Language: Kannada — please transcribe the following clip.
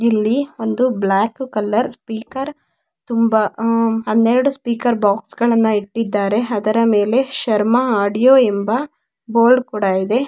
ಇಲ್ಲಿ ಒಂದು ಬ್ಲಾಕ್ ಕಲರ್ ಸ್ಪೀಕರ್ ತುಂಬಾ ಆಹ್ಹ್ ಹನ್ನೆರಡು ಸ್ಪೀಕರ್ ಬಾಕ್ಸ್ ಗಳನ್ನೂ ಇಟ್ಟಿದ್ದಾರೆ ಅದರ ಮೇಲೆ ಶರ್ಮಾ ಆಡಿಯೋ ಎಂಬ ಬೋರ್ಡ್ ಕೂಡ ಇದೆ.